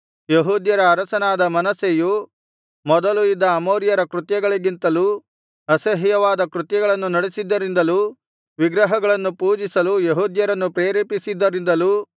ಯೆಹೂದ್ಯರ ಅರಸನಾದ ಮನಸ್ಸೆಯು ಮೊದಲು ಇದ್ದ ಅಮೋರಿಯರ ಕೃತ್ಯಗಳಿಗಿಂತಲೂ ಅಸಹ್ಯವಾದ ಕೃತ್ಯಗಳನ್ನು ನಡಿಸಿದ್ದರಿಂದಲೂ ವಿಗ್ರಹಗಳನ್ನು ಪೂಜಿಸಲು ಯೆಹೂದ್ಯರನ್ನು ಪ್ರೇರೇಪಿಸಿದ್ದರಿಂದಲೂ